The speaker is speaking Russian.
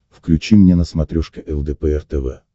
включи мне на смотрешке лдпр тв